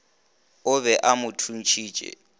o be a mo thuntšhitše